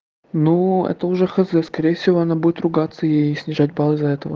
ну это уже хз скорее всего она будет ругаться ей снижать баллы из-за этого